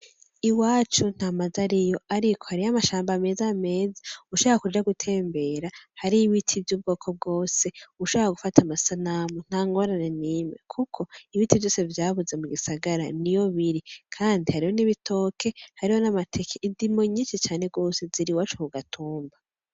Iwacu nta mazu ariyo, ariko hariyo amashamba meza meza. Ushaka kuja gutembera hariyo ibiti vy'ubwoko bwose. Ushaka gufata amasanamu nta ngorane nimwe kuko ibiti vyose vyabuze mu gisagara niyo biri. Kandi hariyo n'ibitoke, hariyo n'amateke, indimo nyinshi cane rwose ziri iwacu ku gatumba.